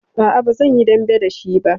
A'a, ba zan yi dambe da shi ba.